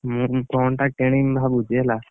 ମୁଁ phone ଟା କିଣିବି ଭାବୁଚି ହେଲା?